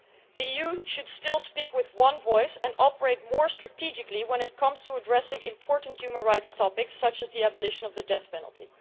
The EU should still speak with one voice and operate more strategically when it comes to addressing important human rights topics, such as the abolition of the death penalty.